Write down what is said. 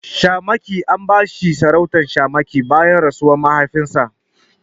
Shamaki An bashi sarautar shamaki bayan rasuwar mahaifinsa.